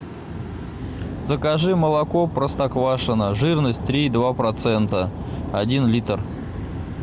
закажи молоко простоквашино жирность три и два процента один литр